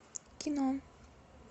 кино